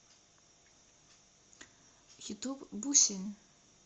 ютуб бусин